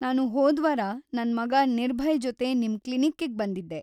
ನಾನು ಹೋದ್ವಾರ ನನ್ ಮಗ ನಿರ್ಭಯ್‌ ಜೊತೆ ನಿಮ್ ಕ್ಲಿನಿಕ್ಕಿಗ್ ಬಂದಿದ್ದೆ.